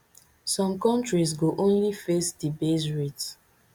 some countries go only face di base rate